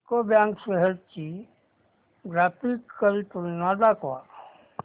UCO bank shares ची graphical तुलना दाखव